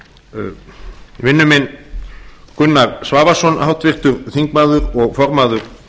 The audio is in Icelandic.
ríkisstjórn vinur minn gunnar svavarsson háttvirtur þingmaður og formaður